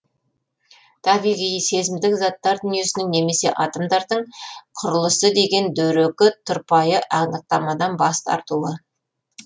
табиғи сезімдік заттар дүниесінің немесе атомдардың құрылысы деген дөрекі тұрпайы анықтамадан бас тартуы